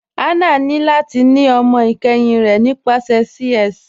Hannah ni lati ni ọmọ ikẹhin rẹ nípasẹ CS.